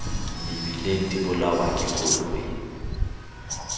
mebileng di bolawa ke dikoloi